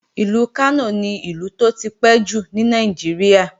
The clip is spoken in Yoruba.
Ìlú Kánò ni Ìlú tó tipẹ́ jù ní Nàìjíríà